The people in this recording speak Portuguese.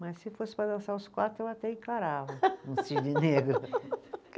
Mas, se fosse para dançar os quatro, eu até encarava um cisne negro.